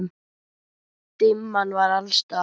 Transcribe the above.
Dimman var alls staðar.